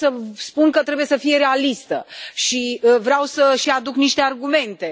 Eu voi spune că trebuie să fie realistă și vreau să și aduc niște argumente.